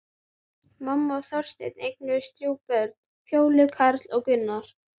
Mamma og Þorsteinn eignuðust þrjú börn, Fjólu, Karl og Gunnar.